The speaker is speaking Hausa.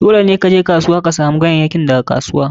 Dole ne ka je kasuwa ka samu ganyayyakin daga kasuwa.